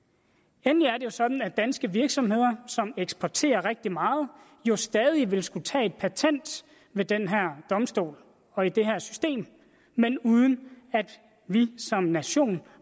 endelig er det jo sådan at danske virksomheder som eksporterer rigtig meget stadig vil skulle tage et patent ved den her domstol og i det her system men uden at vi som nation